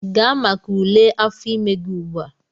Gaa maka ule afọ ime gị ugbu a!